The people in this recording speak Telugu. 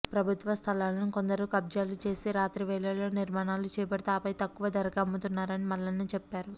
ప్రభుత్వ స్థలాలను కొందరు కబ్జాలు చేసి రాత్రి వేళల్లో నిర్మాణాలు చేపడుతూ ఆపై తక్కువ ధరకే అమ్ముతున్నారని మల్లన్న చెప్పారు